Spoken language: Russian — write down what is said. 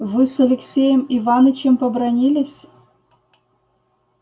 вы с алексеем иванычем побранились